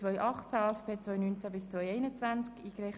Auf die Massnahme ist zu verzichten.